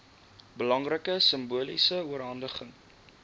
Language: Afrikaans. belangrike simboliese oorhandiging